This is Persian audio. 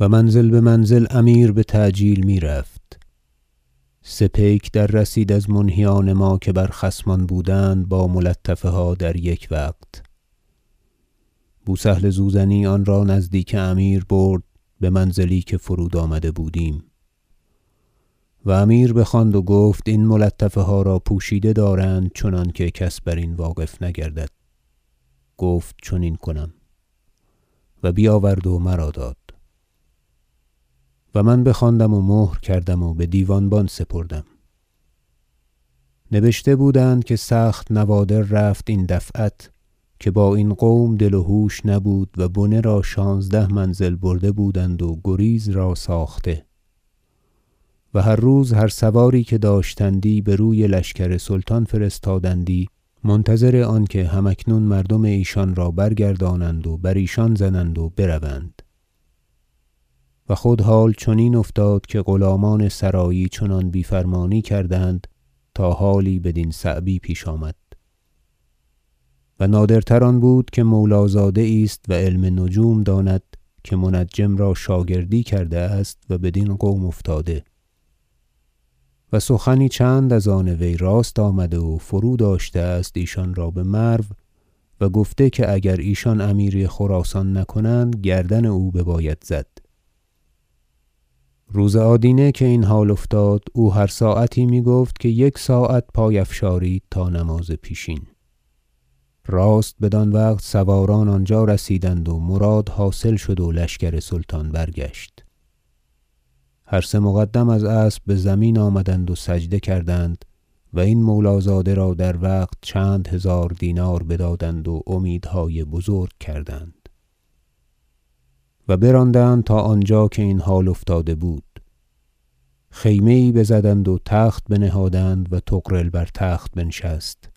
و منزل بمنزل امیر بتعجیل میرفت سه پیک دررسید از منهیان ما که بر خصمان بودند با ملطفه ها در یک وقت بو سهل زوزنی آنرا نزدیک امیر برد بمنزلی که فرود آمده بودیم و امیر بخواند و گفت این ملطفه ها را پوشیده دارند چنانکه کس برین واقف نگردد گفت چنین کنم و بیاورد و مرا داد و من بخواندم و مهر کردم و بدیوانبان سپردم نبشته بودند که سخت نوادر رفت این دفعت که با این قوم دل و هوش نبود و بنه را شانزده منزل برده بودند و گریز را ساخته و هر روز هر سواری که داشتندی بر وی لشکر سلطان فرستادندی منتظر آنکه هم اکنون مردم ایشان را برگردانند و بر ایشان زنند و بروند و خود حال چنین افتاد که غلامان سرایی چنان بیفرمانی کردند تا حالی بدین صعبی پیش آمد و نادرتر آن بود که مولازاده یی است و علم نجوم داند که منجم را شاگردی کرده است و بدین قوم افتاده و سخنی چند از آن وی راست آمده و فرو داشته است ایشان را بمرو و گفته که اگر ایشان امیری خراسان نکنند گردن او بباید زد روز آدینه که این حال افتاد او هر ساعتی میگفت که یک ساعت پای افشارید تا نماز پیشین راست بدان وقت سواران آنجا رسیدند و مراد حاصل شد و لشکر سلطان برگشت هر سه مقدم از اسب بزمین آمدند و سجده کردند و این مولازاده را در وقت چند هزار دینار بدادند و امیدهای بزرگ کردند و براندند تا آنجا که این حال افتاده بود خیمه یی بزدند و تخت بنهادند و طغرل بر تخت بنشست